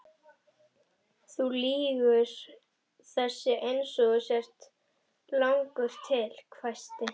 Þú lýgur þessu eins og þú ert langur til, hvæsti